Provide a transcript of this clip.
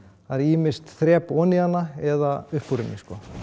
það er ýmist þrep ofan í hana eða upp úr henni